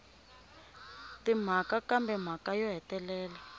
timhaka kambe mhaka yo hetelela